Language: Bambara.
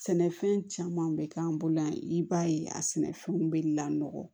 Sɛnɛfɛn caman bɛ k'an bolo yan i b'a ye a sɛnɛfɛnw bɛ lakɔ